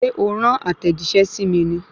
Ṣé o rán àtẹ̀jíṣẹ́ sí mi ní?